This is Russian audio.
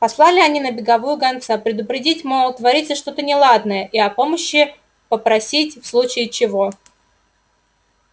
послали они на беговую гонца предупредить мол творится что-то неладное и о помощи попросить в случае чего